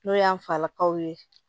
N'o y'an falakaw ye